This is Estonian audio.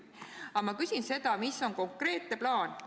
Aga ma küsin seda, mis on konkreetne plaan.